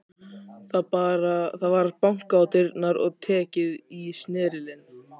Það var bankað á dyrnar og tekið í snerilinn.